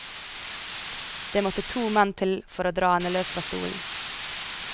Det måtte to menn til for å dra henne løs fra stolen.